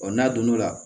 n'a donn'o la